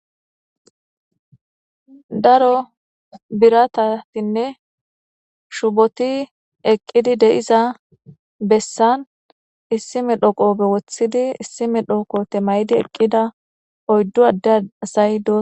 Daro biratatinne shuboti eqqidi de'iza bessan issime dhoqope wothidi issime dhoqo temaydi eqqida oyddu adde asay dosona.